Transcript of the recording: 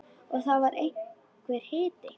Og það var einhver hiti.